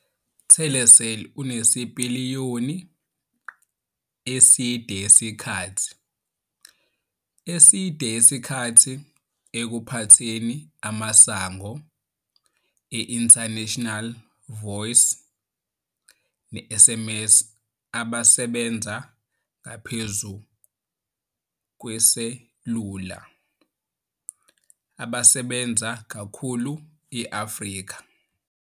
Telecel unesipiliyoni eside isikhathi eside ekuphatheni amasango e-International Voice ne-SMS abasebenza ngaphezu kweselula abasebenza kakhulu e-Afrika.